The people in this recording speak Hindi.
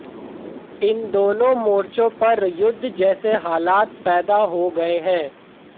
इन दोनों मोर्चो पर युद्ध जैसे हालात पैदा हो गए हैं